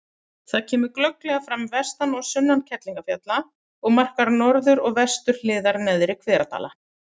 Það kemur glögglega fram vestan og sunnan Kerlingarfjalla og markar norður- og vesturhliðar Neðri-Hveradala.